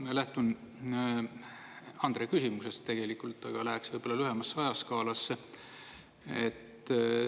Ma lähtun Andre küsimusest tegelikult, aga läheksin ehk lühemasse ajaskaalasse.